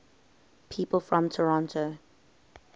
people from toronto